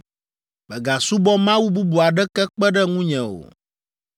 “Mègasubɔ mawu bubu aɖeke kpe ɖe ŋunye o.